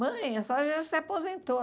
Mãe, a senhora já se aposentou.